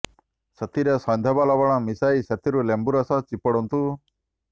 ସେଥିରେ ସୈନ୍ଧବ ଲବଣ ମିଶାଇ ସେଥିରୁ ଲେମ୍ବୁ ରସ ଚିପୁଡନ୍ତୁ